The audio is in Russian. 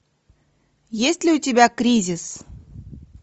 есть ли у тебя кризис